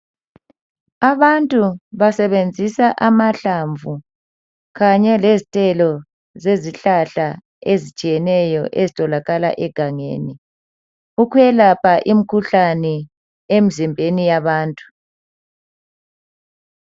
Abantu basebenzisa amahlamvu kanye lezithelo zezihlahla ezitshiyeneyo ezitholakala egangeni ukwelapha imkhuhlane emzimbeni yabantu.